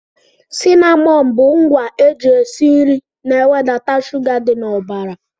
Cinamọn bụ ngwa eji esi nri na e wedata shuga dị n'ọbara.